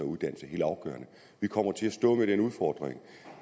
uddannelse helt afgørende vi kommer til at stå med den udfordring